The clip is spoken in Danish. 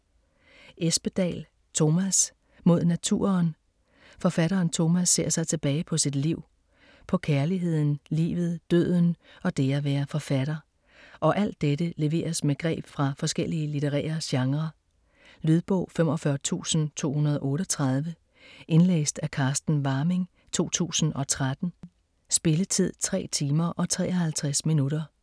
Espedal, Tomas: Mod naturen Forfatteren Tomas ser tilbage på sit liv. På kærligheden, livet, døden og det at være forfatter. Og alt dette leveres med greb fra forskellige litterære genrer. Lydbog 45238 Indlæst af Carsten Warming, 2013. Spilletid: 3 timer, 53 minutter.